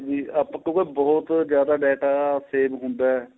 ਆਪਾਂ ਕਿਉਂਕਿ ਬਹੁਤ ਜਿਆਦਾ data save ਹੁੰਦਾ ਏ